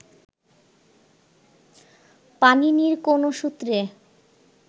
পাণিনির কোন সূত্রে